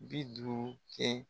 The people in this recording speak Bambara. Bi duuru kɛ